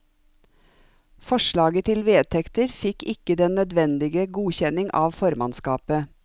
Forslaget til vedtekter fikk ikke den nødvendige godkjenning av formannskapet.